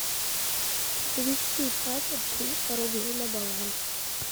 перевести папе триста рублей на баланс